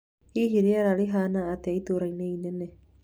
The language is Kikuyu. Hihi rĩera rĩhaana atĩa itũũrainĩ inene?